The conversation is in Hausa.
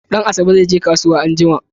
Danasabe zai je kasuwa anjima